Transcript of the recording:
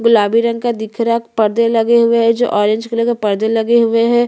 पीछे एक गाज है जिसमे हरे कलर की लाइट आ रही है पत्ते दिख रहे है।